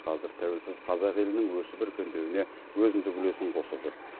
қазір тәуелсіз қазақ елінің өсіп өркендеуіне өзіндік үлесін қосып жүр